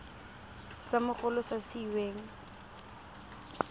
sa mogolo sa se weng